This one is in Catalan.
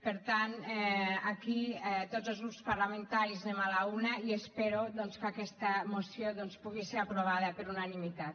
per tant aquí tots els grups parlamentaris anem a l’una i espero doncs que aquesta moció pugui ser aprovada per unanimitat